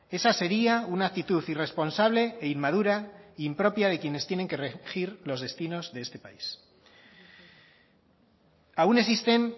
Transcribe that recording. esa sería una actitud irresponsable e inmadura impropia de quienes tienen que regir los destinos de este país aún existen